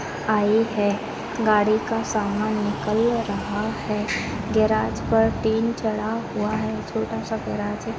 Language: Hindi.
आई है गाड़ी का सामन निकल रहा है गेराज पर टिन चढ़ा हुआ है छोटा सा गेराज है।